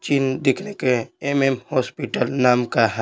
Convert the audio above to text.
चीन देखने के एमएम हॉस्पिटल नाम का--